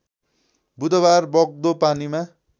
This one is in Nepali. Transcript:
बुधबार बग्दो पानीमा